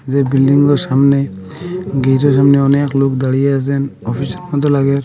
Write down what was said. যে বিল্ডিংগুলোর সামনে গেটের সামনে অনেক লোক দাড়িয়ে আসেন অফিস মত লাগে।